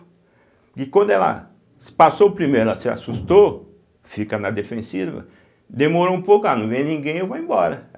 E quando ela passou o primeiro, ela se assustou, fica na defensiva, demorou um pouco, ah, não vem ninguém, eu vou embora.